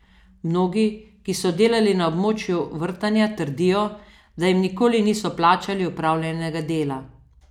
Mnogi, ki so delali na območju vrtanja, trdijo, da jim nikoli niso plačali opravljenega dela.